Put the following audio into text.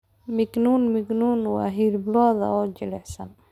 Mignon mignon waa hilib lo'aad oo jilicsan.